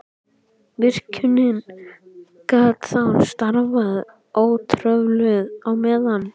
Virkjunin gat þá starfað ótrufluð á meðan.